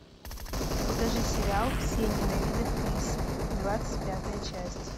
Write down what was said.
покажи сериал все ненавидят криса двадцать пятая часть